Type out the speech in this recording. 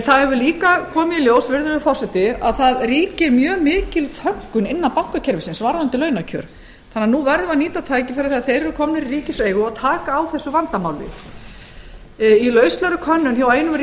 það hefur líka komið í ljós virðulegur forseti að það ríkir mjög mikil þöggun innan bankakerfisins varðandi launakjör þannig að nú verðum við að nýta tækifærið þegar þeir eru komnir í ríkiseigu og taka á þessu vandamáli í lauslegri könnun hjá einum